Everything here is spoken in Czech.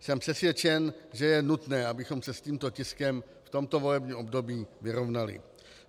Jsem přesvědčen, že je nutné, abychom se s tímto tiskem v tomto volebním období vyrovnali.